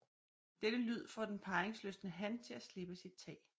Denne lyd får den parringslystne han til at slippe sit tag